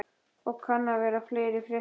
Og kann vera að fleira fréttist.